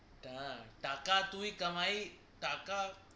টা টাকা তুই কামাই